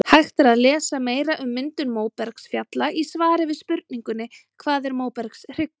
Hægt er að lesa meira um myndun móbergsfjalla í svari við spurningunni Hvað er móbergshryggur?